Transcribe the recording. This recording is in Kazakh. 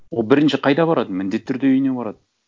ол бірінші қайда барады міндетті түрде үйіне барады